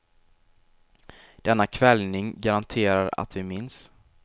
Denna kväljning garanterar att vi minns.